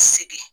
Sigi